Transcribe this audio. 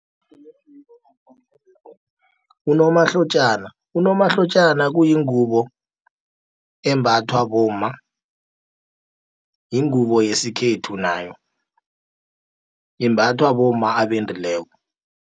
Unomahlotjana kuyingubo embathwa bomma, yingubo yesikhethu nayo, imbathwa bomma abendileko.